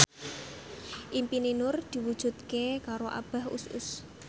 impine Nur diwujudke karo Abah Us Us